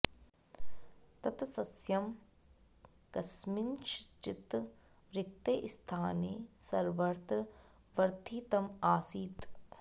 तत् सस्यं कस्मिंश्चित् रिक्ते स्थाने सर्वत्र वर्धितम् आसीत्